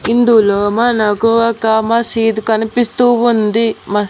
ఇందులో మనకు ఒక మసీద్ కనిపిస్తూ ఉంది మస్--